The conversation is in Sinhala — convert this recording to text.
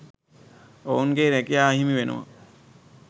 ඔවුන්ගේ රැකියා අහිමිවෙනවා